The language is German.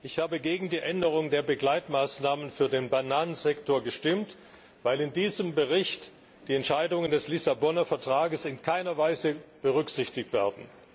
Ich habe gegen die Änderung der Begleitmaßnahmen für den Bananensektor gestimmt, weil in diesem Bericht die Entscheidungen des Vertrags von Lissabon in keiner Weise berücksichtigt werden.